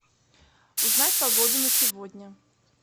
узнать погоду на сегодня